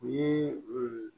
U ye